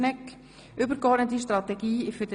SP-JUSO-PSA (Marti, Bern)